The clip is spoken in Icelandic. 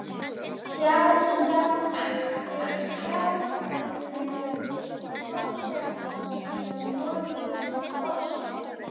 hjá í hjátrú og hjárænulegur er forsetningin hjá notuð sem forskeyti